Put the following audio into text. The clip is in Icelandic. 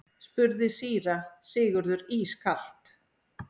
spurði síra Sigurður ískalt.